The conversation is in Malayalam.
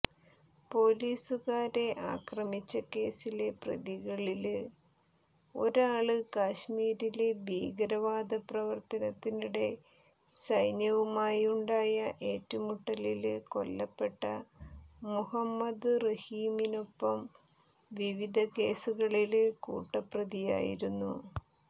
പോലീസുകാരെ ആക്രമിച്ച കേസിലെ പ്രതികളില് ഒരാള് കശ്മീരില് ഭീകരവാദപ്രവര്ത്തനത്തിനിടെ സൈന്യവുമായുണ്ടായ ഏറ്റുമുട്ടലില് കൊല്ലപ്പെട്ട മുഹമ്മദ് റഹീമിനൊപ്പം വിവിധ കേസുകളില് കൂട്ടുപ്രതിയായിരുന്നു